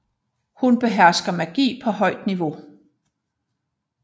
Hun behersker magi på højt niveau